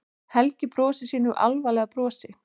Helgi brosir sínu álfalega brosi.